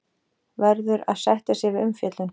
Verður að sætta sig við umfjöllun